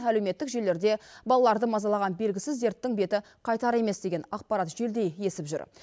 әлеуметтік желілерде балаларды мазалаған белгісіз дерттің беті қайтар емес деген ақпарат желдей есіп жүр